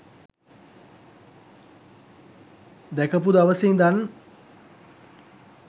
දැකපු දවසෙ ඉඳන්